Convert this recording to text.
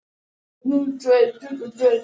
Það er í sjálfu sér ekkert undur.